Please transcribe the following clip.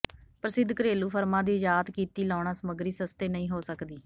ਪ੍ਰਸਿੱਧ ਘਰੇਲੂ ਫਰਮਾਂ ਦੀ ਆਯਾਤ ਕੀਤੀ ਲਾਉਣਾ ਸਮੱਗਰੀ ਸਸਤੇ ਨਹੀਂ ਹੋ ਸਕਦੀ